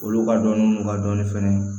Olu ka dɔnni n'u ka dɔnni fɛnɛ ye